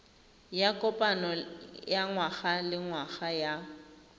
ya kopano ya ngwagalengwaga ya